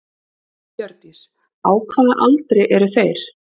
Hjördís: Á hvaða aldri eru þeir?